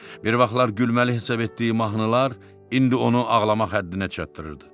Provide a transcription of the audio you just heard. Bir vaxtlar gülməli hesab etdiyi mahnılar indi onu ağlamaq həddinə çatdırırdı.